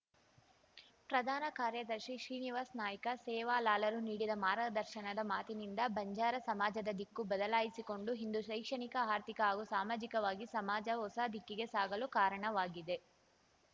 ಪ್ರಧಾನ ಕಾರ್ಯದರ್ಶಿ ಶ್ರೀನಿವಾಸ್ ನಾಯ್ಕ ಸೇವಾಲಾಲರು ನೀಡಿದ ಮಾರ್ಗದರ್ಶನದ ಮಾತಿನಿಂದ ಬಂಜಾರ ಸಮಾಜದ ದಿಕ್ಕು ಬದಲಾಯಿಸಿಕೊಂಡು ಇಂದು ಶೈಕ್ಷಣಿಕ ಆರ್ಥಿಕ ಹಾಗೂ ಸಾಮಾಜಿಕವಾಗಿ ಸಮಾಜ ಹೊಸ ದಿಕ್ಕಿಗೆ ಸಾಗಲು ಕಾರಣವಾಗಿದೆ